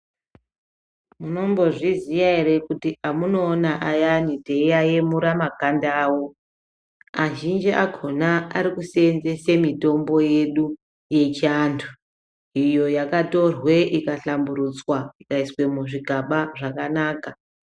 Munombozviziya ere kuti emunoona ayani teiaemura makanda awo azhinji akhona ari kuseenzesa mitombo yedu yechiantu. Iyo yakatorwe ikahlamburutsa ikaiswa muzvigaba zvakanaka.